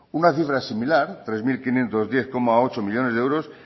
una cifra similar tres mil quinientos diez coma ocho millónes de euros